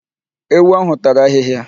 Ewu ahụ tara ahịhịa.